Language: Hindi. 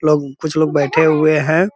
लोग कुछ लोग बैठे हुए हैं।